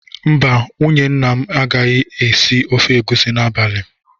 Mba, nwunye nna anyị agaghị esi ofe egusi n'abalị m